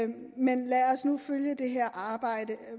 men lad os nu følge det her arbejde